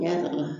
Ɲɛda la